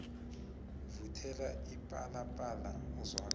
vuthela ipalapala izwakale